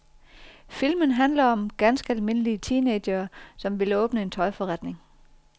Filmen handler den om ganske almindelige teenagere, som vil åbne en tøjforretning.